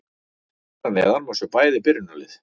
Hér að neðan má sjá bæði byrjunarlið.